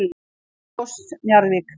Selfoss- Njarðvík